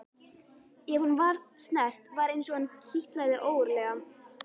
Ef hún var snert var eins og hana kitlaði ógurlega.